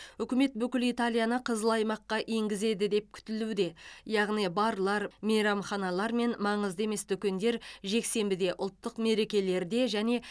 үкімет бүкіл италияны қызыл аймаққа енгізеді деп күтілуде яғни барлар мейрамханалар мен маңызды емес дүкендер жексенбіде ұлттық мерекелерде және